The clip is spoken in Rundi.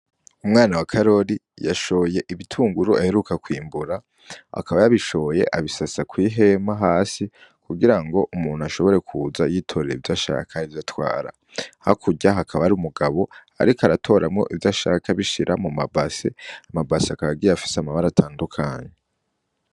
Umwana wa karoli yashoye ibitunguru aheruka kw'imbura akaba yabishoye abisasa kw'ihemu hasi kugira ngo umuntu ashobore kuza yitorera ivyashakar ivyo atwara ha kurya hakaba ari umugabo, ariko aratoramwo ivyoashaka bishira mu mabase amabase akagiye afise amabara atandukanyu.